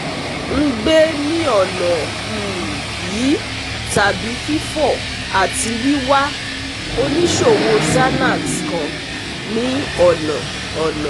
n gbe ni ọna um yii tabi fifọ ati wiwa oniṣowo xanax kan ni ona ona